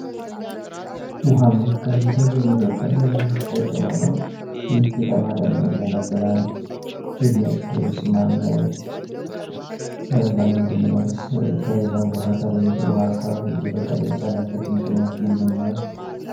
ዉሃማ አካባቢ ላይ የሚበቅል ቄጠማ ነው። ይሄ ቄጤማ ደግሞ ለምን ያገለግላል የሚያጭደውስ ማን ነው? ለምንድን ነው ከሌላው ቦታ ተለይቶ ውሃማ አካባቢ ሊበቅል የቻለውበትስ ምክንያት ምንድን ነው?